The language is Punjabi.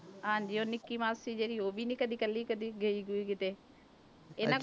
ਹਾਂਜੀ ਉਹ ਨਿੱਕੀ ਮਾਸੀ ਜਿਹੜੀ ਉਹ ਵੀ ਨੀ ਕਦੇ ਇਕੱਲੀ ਕਦੀ ਗਈ ਗੂਈ ਕਿਤੇ, ਇਹਨਾਂ